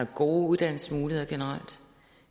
gode uddannelsesmuligheder